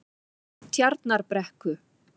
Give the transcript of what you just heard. Tjarnarbrekku